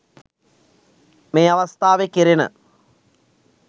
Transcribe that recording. මේ අවස්ථාවේ කෙරෙන